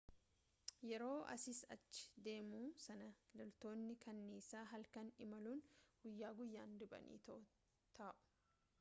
yeroo asiis achi deemuu sana loltootni kanniisaa halkan imaluun guyyaa guyyaa riphanii taawu